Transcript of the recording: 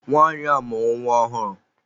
Nwanyi a mụrụ nwa ọhụụ.